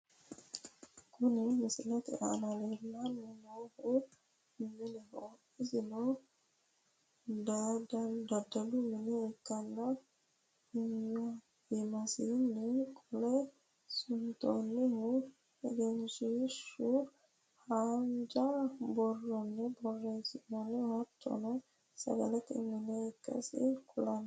kuni misilete aana leellanni noohu mineho, isno daddalu mine ikkanna , iimasiinni qolle suntoonnihu egenshiishshu haanja borronni borreessinoonniho hattono sagalete mine ikkasi kulanno.